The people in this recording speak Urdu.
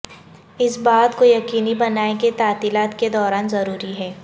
اس بات کو یقینی بنائیں کہ تعطیلات کے دوران ضروری ہے